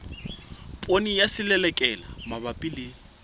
poone ya selelekela mabapi le